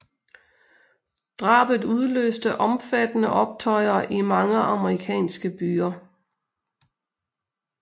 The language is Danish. Drabet udløste omfattende optøjer i mange amerikanske byer